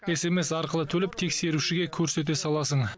смс арқылы төлеп тексерушіге көрсете саласың